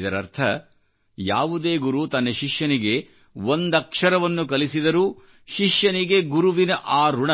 ಇದರರ್ಥ ಯಾವುದೇ ಗುರು ತನ್ನ ಶಿಷ್ಯನಿಗೆ ಒಂದೇ ಅಕ್ಷರವನ್ನು ಕಲಿಸಿದರೂ ಶಿಷ್ಯನಿಗೆ ಗುರುವಿನ ಆ ಋಣ